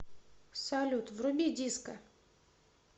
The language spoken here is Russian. салют вруби диско